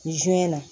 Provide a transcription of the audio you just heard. na